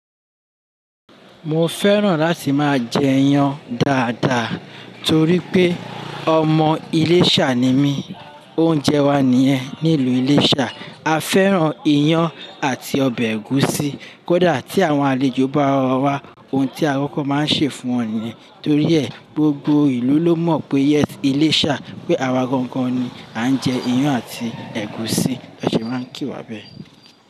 Mo fẹ́ràn láti máa jẹ iyán dáadáa torí pé ọmọ Iléṣà ni mí. Oúnjẹ wa nìyẹn nílùú Iléṣà. A fẹ́ràn iyán àti ọbẹ̀ ẹ̀gúsí. Kódà tí àwọn àlejò bá wá wa wá, ohun tí akọ́kọ́ máa ń ṣè fún wọn nìyẹn. Torí ẹ̀, gbogbo ìlú ló mọ̀ pé yes Ilésà pé àwa gangan ni à ń jẹ iyán àti ẹ̀gúsí. Wọ́n sì máa ń kì wá bẹ́ẹ̀.